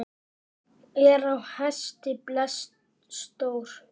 Er á hesti blesa stór.